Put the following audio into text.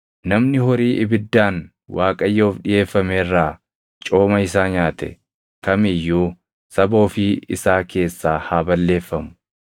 Namni horii ibiddaan Waaqayyoof dhiʼeeffame irraa cooma isaa nyaate kam iyyuu saba ofii isaa keessaa haa balleeffamu.